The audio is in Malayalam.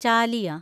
ചാലിയ